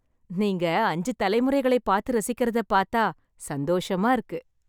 நீங்க அஞ்சு தலைமுறைகளை பார்த்து ரசிக்கறதைப் பார்த்தா, சந்தோஷமா இருக்கு.